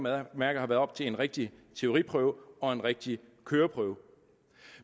at mærke har været op til en rigtig teoriprøve og en rigtig køreprøve